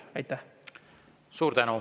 Suur tänu!